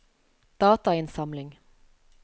datainnsamling